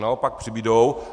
Naopak přibudou.